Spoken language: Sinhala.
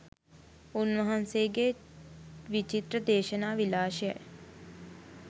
උන් වහන්සේගේ විචිත්‍ර දේශනා විලාශයයි.